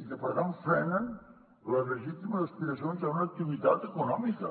i que per tant frenen les legítimes aspiracions d’una activitat econòmica